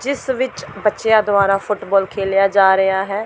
ਜਿਸ ਵਿੱਚ ਬੱਚਿਆਂ ਦੁਆਰਾ ਫੁੱਟਬਾਲ ਖੇਲਿਆ ਜਾ ਰਿਹਾ ਹੈ।